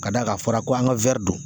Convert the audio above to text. Ka d'a kan a fɔra ko an ka don